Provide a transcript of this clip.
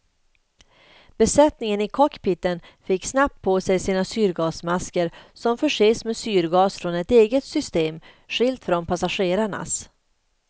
Besättningen i cockpiten fick snabbt på sig sina syrgasmasker som förses med syrgas från ett eget system, skilt från passagerarnas.